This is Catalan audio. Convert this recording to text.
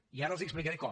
i ara els explicaré com